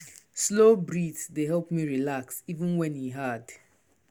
slow breath dey help me relax even when e hard.